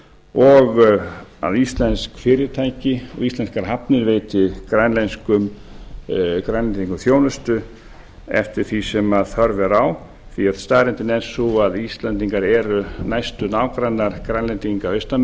og íslensk fyrirtæki og íslenskar hafnir veiti grænlendingum þjónustu eftir því sem þörf er á því staðreyndin er sú að íslendingar eru næstu nágrannar grænlendinga austan